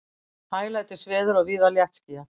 Hæglætisveður og víða léttskýjað